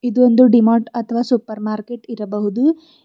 ಇದೊಂದು D Mart ಅಥವಾ super market ಇರಬಹುದು.